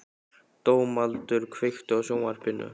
Dómaldur, kveiktu á sjónvarpinu.